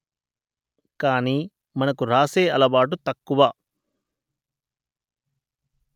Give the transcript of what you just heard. కాని మనకు వ్రాసే అలవాటు తక్కువ